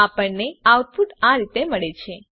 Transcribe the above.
આપણને આઉટપુટ આપેલ રીતે મળે છે